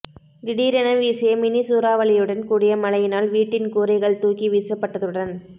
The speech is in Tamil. திடீரென வீசிய மினி சூறாவளியுடன் கூடிய மழையினால் வீட்டின் கூரைகள் தூக்கி வீசப்பட்டதுடன்